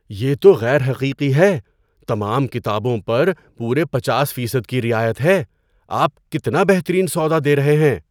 یہ تو غیر حقیقی ہے! تمام کتابوں پر پورے پچاس فیصد کی رعایت ہے۔ آپ کتنا بہترین سودا دے رہے ہیں۔